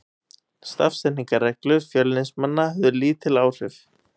Stafsetningarreglur Fjölnismanna höfðu lítil áhrif.